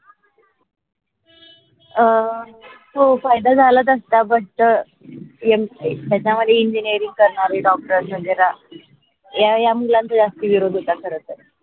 अह हो फायदा झाला त्याचा but याच्या मध्ये engineering करण्यारे doctor वगेर खरतर